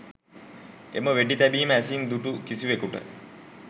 එම වෙඩි තැබීම ඇසින් දුටු කිසිවෙකුට